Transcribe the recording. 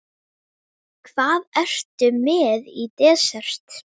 Hvað ertu með í desert?